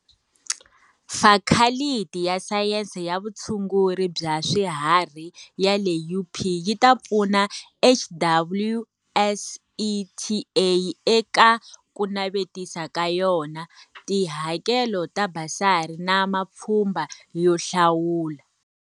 Fakhaliti ya Sayense ya Vutshunguri bya Swi harhi ya le UP yi ta pfuna HWSETA eka ku navetisa ka yona, tihakelo ta basari na mapfhumba yo hlawula.